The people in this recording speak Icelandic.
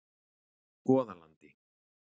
Goðalandi